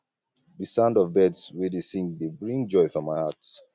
di sound of birds wey dey sing dey bring joy for my heart